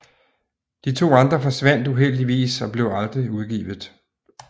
De to andre forsvandt uheldigvis og blev aldrig udgivet